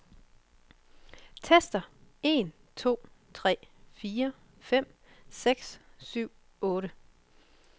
Tester en to tre fire fem seks syv otte.